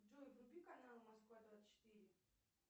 джой вруби канал москва двадцать четыре